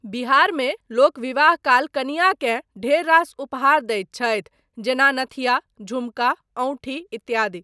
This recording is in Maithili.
बिहारमे लोक विवाह काल कनियाकेँ ढेर रास उपहार दैत छथि जेना नथिया, झुमका, अँउठी इत्यादि।